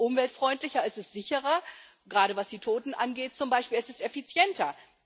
Das ist umweltfreundlicher, es ist sicherer gerade was die Toten angeht zum Beispiel es ist effizienter.